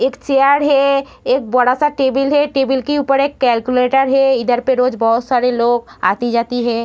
एक चेयर है एक बड़ा सा टेबिल है टेबिल के ऊपर एक कैलकुलेटर है इधर पे रोज बहुत सारे लोग आती-जाती है।